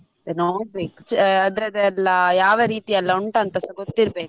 ಅದೇ ನೋಡ್ಬೇಕು ಚ~ ಅದ್ರಲ್ಲಿ ಎಲ್ಲ ಯಾವ ರೀತಿಯೆಲ್ಲ ಉಂಟಂತಸ ಗೊತ್ತಿರ್ಬೇಕ ಅಲ್ಲಾ.